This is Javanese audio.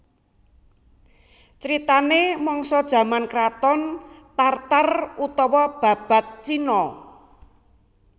Critanè mangsa jaman kraton Tar Tar utawa Babad Cina